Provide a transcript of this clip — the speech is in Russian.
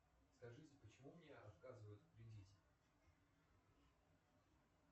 скажите почему мне отказывают в кредите